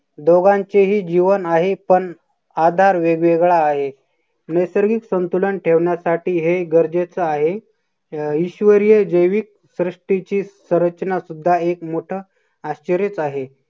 दोघांचेही जीवन आहे पण आधार वेगवेगळा आहे. नैसर्गिक संतुलन ठेवण्यासाठी हे गरजेचे आहे अं ईश्वरीय जैविक सृष्टीची संरचना सुद्धा एक मोठा आश्चर्यचं आहे.